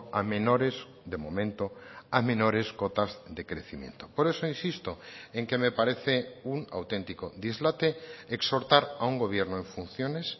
a menores de momento a menores cotas de crecimiento por eso insisto en que me parece un auténtico dislate exhortar a un gobierno en funciones